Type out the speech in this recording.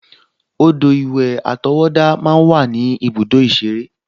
Odò-ìwẹ̀ àtọwọ́dá máa ń wà ní ibùdó ìṣeré